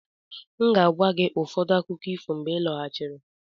M ga-agwa gị ụfọdụ akụkọ ifo mgbe m lọghachiri.